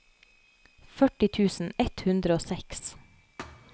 førti tusen ett hundre og seks